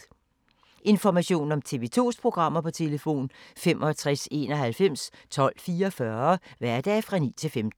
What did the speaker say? Information om TV 2's programmer: 65 91 12 44, hverdage 9-15.